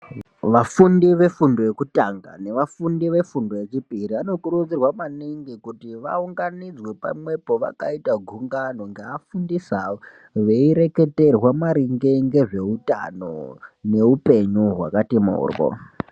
Vafundi vefundo yekutanga nevafundi vefundo yechipiri vanokurudzirwa maningi kuti vaunganidzwe pamwepi vakauta gungano ngeafundisi awo veireketerwa maringe ngezveutano neupenyu hwakati moryo.